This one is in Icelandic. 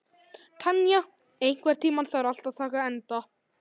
Tanya, einhvern tímann þarf allt að taka enda.